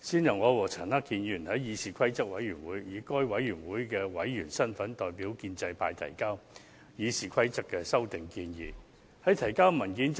最初，我與陳克勤議員以該委員會的委員身份，代表建制派議員於議事規則委員會提交《議事規則》的修訂建議。